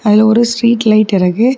இதுல ஒரு street light இருக்கு.